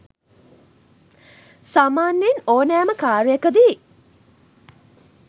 සාමාන්‍යයෙන් ඕනෑම කාර්යකදී